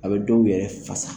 A be dow yɛrɛ fasa